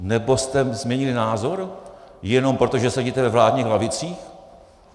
Nebo jste změnili názor jenom proto, že sedíte ve vládních lavicích?